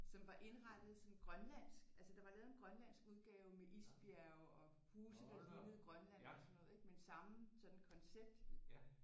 Som var indrettet som grønlandsk altså der var lavet en grønlandsk udgave med isbjerge og huse der lignede Grønland og sådan noget ik men samme sådan koncept